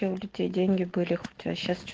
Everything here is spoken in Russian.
деньги были хотя а сейчас что